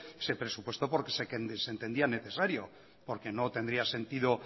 se presupuestó porque se entendía necesario porque no tendría sentido